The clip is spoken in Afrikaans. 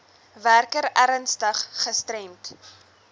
werker ernstig gestremd